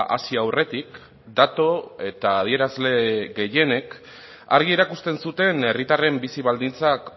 hasi aurretik datu eta adierazle gehienek argi erakusten zuten herritarren bizi baldintzak